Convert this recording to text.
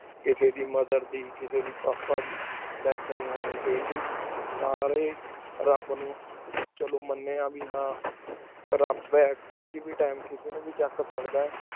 ਕਿਸੀ ਦੀ mother ਦੀ ਕਿਸੀ ਦੀ papa ਦੀ death ਨੀ ਹੁਣੀ ਚਾਹੀ ਦੀ ਸਾਰੀ ਹੀ ਰਾਬ ਨੂ ਚਾਲੂ ਮੰਯਨ ਹੇ ਬੇ ਹਨ ਰਾਬ ਆਯ ਕੀਨੁ ਨੂ ਵੇ ਕਿਸੀ ਵੇ ਟੀਮੇ ਚਕ ਸਕਦਾ